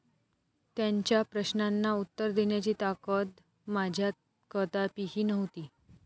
त्यांच्या प्रश्नांना उत्तर देण्याची ताकद माझ्यात कदापिही नव्हती.